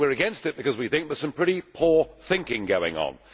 We are against it because we think there is some pretty poor thinking going on.